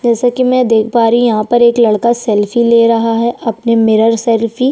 जैसे की मै देख पा रही हूँ यहाँ पर एक लड़का सेल्फी ले रहा हैं अपनी मिरर सेल्फी --